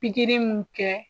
Pikiri mun kɛ